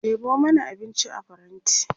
ɗebo mana abinci a faranti!